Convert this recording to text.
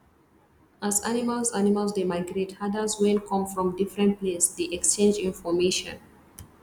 as animals animals dey migrate herders wen come from different place dey exchange information